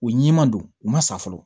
U ɲiman don u ma sa fɔlɔ